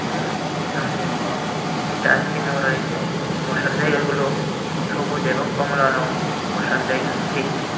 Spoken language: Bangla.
এ্যা সামনে একটি ডাস্টবিনও রয়েছে বসার জায়গাগুলো সবুজ এবং কমলা রঙের বসার জায়গা সিট ।